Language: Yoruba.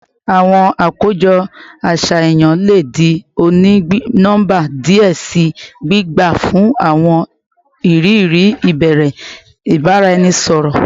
Awọn akojọ aṣayan le di oni-nọmba diẹ sii, gbigba fun awọn iriri ibere ibaraẹnisọrọ